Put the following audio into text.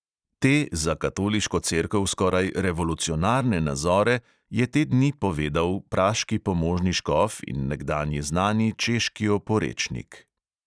Te, za katoliško cerkev skoraj revolucionarne nazore, je te dni povedal praški pomožni škof in nekdanji znani češki oporečnik.